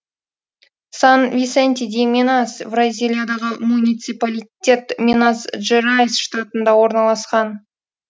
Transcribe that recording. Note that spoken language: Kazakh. сан висенти ди минас бразилиядағы муниципалитет минас жерайс штатында орналасқан